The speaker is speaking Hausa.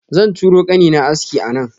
Zan turo kanina aski a nan.